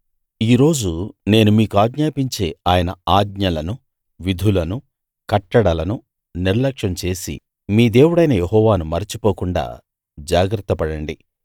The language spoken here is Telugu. ఈ రోజు నేను మీకాజ్ఞాపించే ఆయన ఆజ్ఞలను విధులను కట్టడలను నిర్లక్ష్యం చేసి మీ దేవుడైన యెహోవాను మరచిపోకుండా జాగ్రత్త పడండి